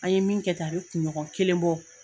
An ye min kɛ tan, a bɛ kunɲɔgɔn kelen bɔ.